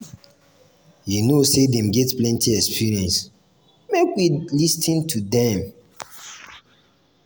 you know sey dem get plenty experience make we lis ten to dem.